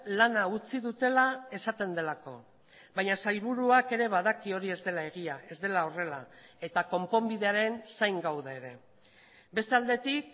lana utzi dutela esaten delako baina sailburuak ere badaki hori ez dela egia ez dela horrela eta konponbidearen zain gaude ere beste aldetik